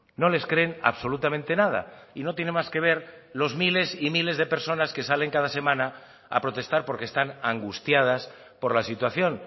no les creen absolutamente nada y no tiene más que ver los miles y miles de personas que salen cada semana a protestar porque están angustiadas por la situación